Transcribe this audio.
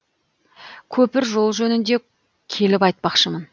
көпір жол жөнінде келіп айтпақшымын